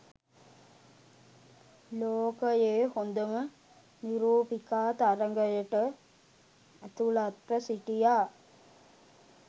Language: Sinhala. ලෝකයේ හොඳම නිරූපිකා තරගයට ඇතුළත්ව සිටියා